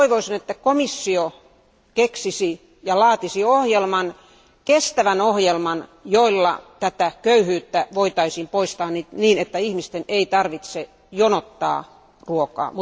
Toivoisin, että komissio keksisi ja laatisi kestävän ohjelman, jolla tätä köyhyyttä voitaisiin poistaa, niin että ihmisten ei tarvitse jonottaa ruokaa.